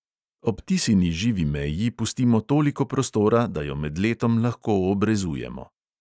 Ob tisini živi meji pustimo toliko prostora, da jo med letom lahko obrezujemo.